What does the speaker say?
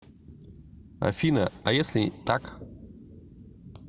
афина а если так